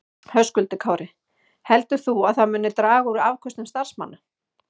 Höskuldur Kári: Heldur þú að það muni draga úr afköstum starfsmanna?